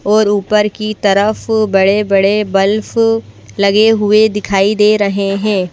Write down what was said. और ऊपर की तरफ बड़े-बड़े बल्फ लगे हुए दिखाई दे रहे हैं।